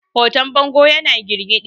hoton bangon yana girgidi